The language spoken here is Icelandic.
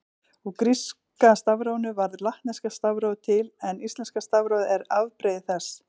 Úr gríska stafrófinu varð latneska stafrófið til en íslenska stafrófið er afbrigði þess.